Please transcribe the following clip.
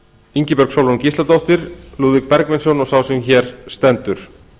ingibjörg sólrún gísladóttir lúðvík bergvinsson og sá sem hér stendur